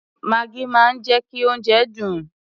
Maggi máa ń jẹ́ kí oúnjẹ dùn.